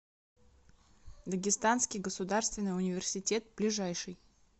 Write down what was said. дагестанский государственный университет ближайший